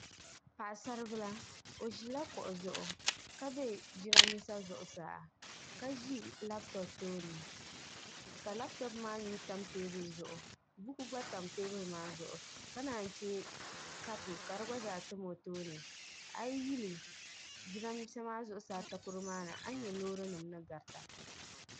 Paɣi saribila o ʒila kuɣu zuɣu ka bɛ jiranbisa zuɣusaa ka ʒi laapitop tooni ka laapitop maa mi yam Teebuli zuɣu buku gba tam teebuli maa zuɣu ka naa chɛ kapu ka di gna zaa tam o tooni a yi yuli jidanisaa ta koro maani a nya loori nim ni gata